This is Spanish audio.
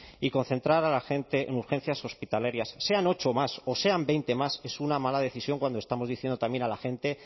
y concentrar a la gente en urgencias hospitalarias sean ocho más o sean veinte más es una mala decisión cuando estamos diciendo también a la gente